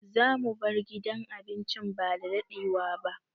Zamu bar gidan abincin ba dadadewa ba.